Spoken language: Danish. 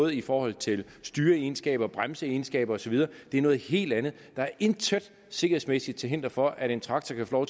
i forhold til styreegenskaber bremseegenskaber og så videre det er noget helt andet der er intet sikkerhedsmæssigt til hinder for at en traktor kan få